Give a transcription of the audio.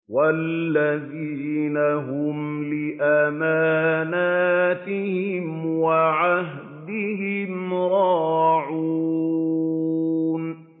وَالَّذِينَ هُمْ لِأَمَانَاتِهِمْ وَعَهْدِهِمْ رَاعُونَ